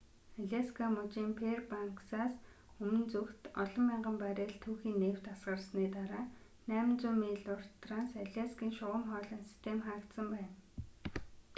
аляска мужийн фэйрбанксаас өмнө зүгт олон мянган баррель түүхий нефть асгарсны дараа 800 миль урт транс аляскийн шугам хоолойн систем хаагдсан байна